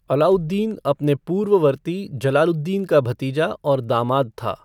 अलाउद्दीन अपने पूर्ववर्ती जलालुद्दीन का भतीजा और दामाद था।